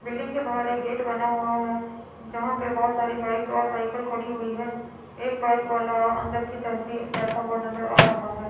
Building के बाहर एक गेट बना हुआ है जहां पे बहोत सारी बाइक्स और साइकिल खड़ी हुई है एक बाइक वाला अन्दर की तरफ ही जाता हुआ नजर आ रहा है।